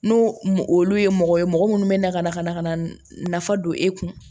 N'o olu ye mɔgɔ ye mɔgɔ minnu bɛ na ka na ka na ka na nafa don e kun